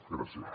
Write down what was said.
gràcies